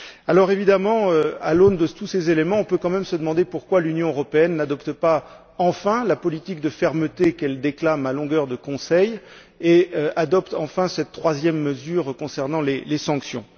Alors évidemment à l'aune de tous ces éléments, on peut quand même se demander pourquoi l'Union européenne n'adopte pas enfin la politique de fermeté qu'elle déclame à longueur de conseils et adopte enfin cette troisième mesure concernant les sanctions.